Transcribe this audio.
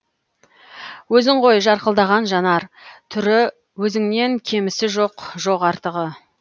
өзің ғой жарқылдаған жанар түрі өзіңнен кемісі жоқ жоқ артығы